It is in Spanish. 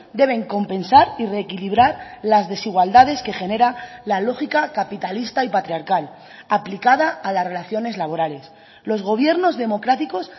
deben compensar y reequilibrar las desigualdades que genera la lógica capitalista y patriarcal aplicada a las relaciones laborales los gobiernos democráticos